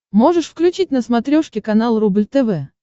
можешь включить на смотрешке канал рубль тв